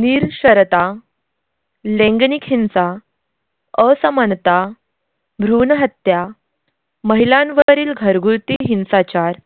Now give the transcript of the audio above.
निरक्षरता, लैंगनिक हिंसा, असमानता, भ्रूणहत्या, महिलांवरील घरगुती हिंसाचार,